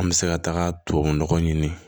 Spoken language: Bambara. An bɛ se ka taga tubabu nɔgɔ ɲini